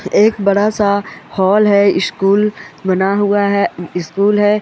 एक बड़ा सा हॉल स्कूल बना हुआ है स्कूल है।